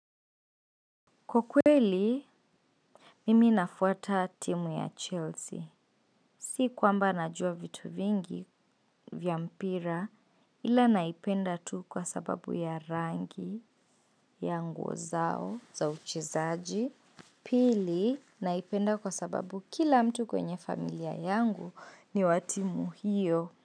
Kwa kweli, mimi nafuata timu ya Chelsea. Si kwamba najua vitu mjigi ya mpira ila naipenda tyu kwa sababu ya nguo zao ya uchezaji. Pili, naipenda kwa sababu kila mtu kwenye familia yangu ni wa timu hiyo.